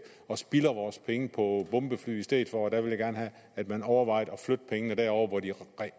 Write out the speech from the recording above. og spilder vores penge på bombefly i stedet for og der vil jeg gerne have at man overvejede at flytte pengene derover hvor de